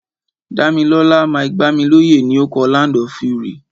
Dámilọ́lá Mike-Bámilóyè ni o kọ "Land of Fury".